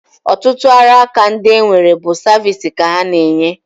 Ọtụtụ ọrụaka ndị e nwere bụ saviisi ka ha na-enye